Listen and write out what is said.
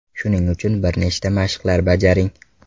Shuning uchun bir nechta mashqlar bajaring.